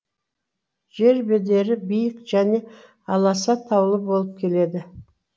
жер бедері биік және аласа таулы болып келеді